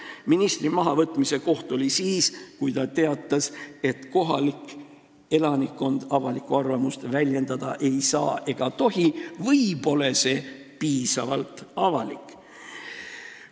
Aga ministri mahavõtmise õige hetk olnuks siis, kui ta teatas, et kohalik elanikkond avalikku arvamust väljendada ei saa ega tohi või et see pole piisavalt avalik arvamus.